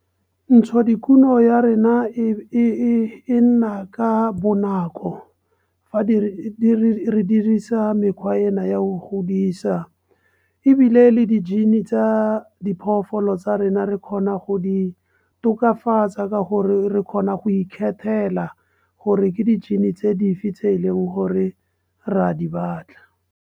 Ntsho dikuno ya rena e nna ka bonako fa re dirisa mekgwa ena ya o godisa ebile le di-gene tsa diphoofolo tsa rena re kgona go di tokafatsa ka gore re kgona go ikgethela gore ke di-gene tse dife tse e leng gore re a di batla.